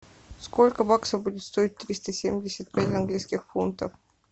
сколько баксов будет стоить триста семьдесят пять английских фунтов